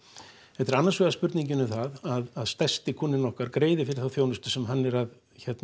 þetta er annars vegar spurning um það að stærsti kúnninn okkar greiði fyrir þá þjónustu sem hann er að